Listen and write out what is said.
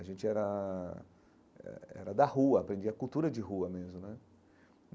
A gente era eh eh eh era da rua, aprendia a cultura de rua mesmo né.